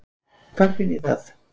Hvar finn ég það?